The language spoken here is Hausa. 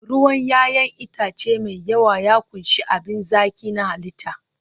ruwan 'ya'yan itace mai yawa ya ƙunshi abin zaki na halitta